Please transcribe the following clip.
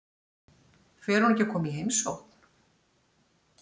Fer hún ekki að koma í heimsókn?